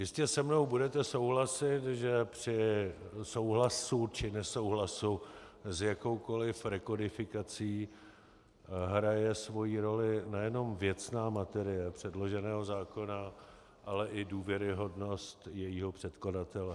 Jistě se mnou budete souhlasit, že při souhlasu či nesouhlasu s jakoukoliv rekodifikací hraje svoji roli nejenom věcná materie předloženého zákona, ale i důvěryhodnost jejího předkladatele.